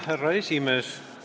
Härra esimees!